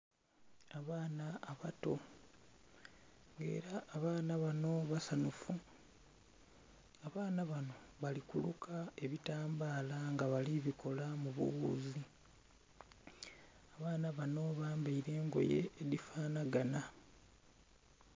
Abaana abato nga era abaana bano basanhufu, abaana bano bali kuluka ebitambala nga bali bikola mubu wuuzi, abaana bano bambaire engoye edhifanhaganha.